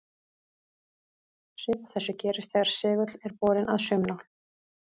Svipað þessu gerist þegar segull er borinn að saumnál.